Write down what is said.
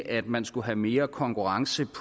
at man skulle have mere konkurrence